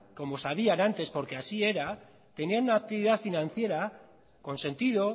como sabían antes porque así era tenían una actividad financiera con sentido